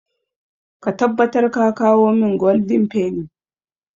Ka tabbatar ka kawo min goldin feni!